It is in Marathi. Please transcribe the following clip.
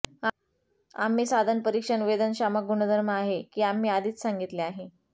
आम्ही साधन परीक्षण वेदनशामक गुणधर्म आहे की आम्ही आधीच सांगितले आहे